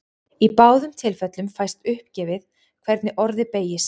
Í báðum tilfellum fæst uppgefið hvernig orðið beygist.